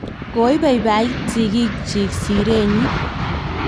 koiboiboit sigikchich sire nyin